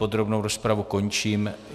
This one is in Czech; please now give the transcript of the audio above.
Podrobnou rozpravu končím.